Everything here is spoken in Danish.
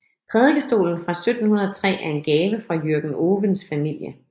Prædikestolen fra 1703 er en gave fra Jürgen Ovens familie